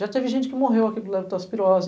Já teve gente que morreu aqui por leptospirose